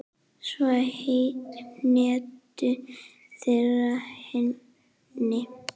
Svo hentu þeir henni.